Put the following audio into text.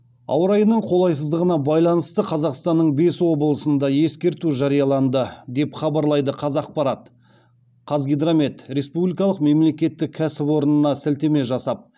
ауа райының қолайсыздығына байланысты қазақстанның бес облысында ескерту жарияланды деп хабарлайды қазақпарат қазгидромет республикалық мемлекеттік кәсіпорынына сілтеме жасап